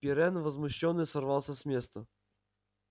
пиренн возмущённо сорвался с места